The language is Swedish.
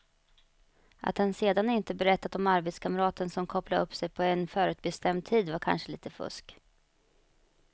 Att han sedan inte berättade om arbetskamraten som kopplade upp sig på en förutbestämd tid var kanske lite fusk.